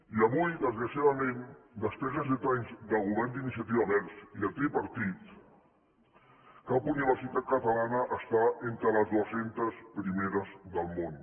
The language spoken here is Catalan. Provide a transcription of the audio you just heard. i avui desgraciadament després de set anys de govern d’iniciativa verds i de tripartit cap universitat catalana està entre les dues centes primeres del món